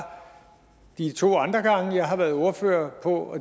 de to andre gange jeg har været ordfører på